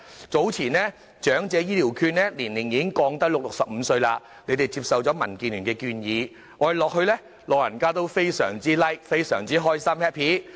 早前長者醫療券的受惠年齡已降至65歲，政府接受了民建聯的建議，老人家都表示非常開心。